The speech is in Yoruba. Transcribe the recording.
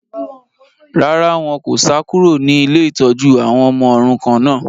Rárá, wọn kò sá kúrò ní ilé ìtọ́jú àwọn ọmọ òrukàn náà